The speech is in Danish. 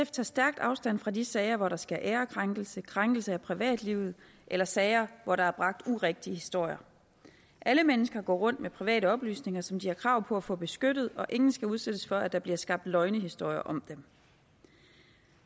tager stærkt afstand fra de sager hvor der sker ærekrænkelse krænkelse af privatlivet eller sager hvor der er bragt urigtige historier alle mennesker går rundt med private oplysninger som de har krav på at få beskyttet og ingen skal udsættes for at der bliver skabt løgnehistorier om dem